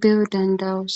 beyo dandawus